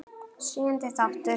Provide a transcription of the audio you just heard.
Sjöundi þáttur